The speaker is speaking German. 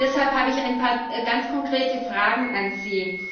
Deshalb habe ich ein paar ganz konkrete Fragen an Sie.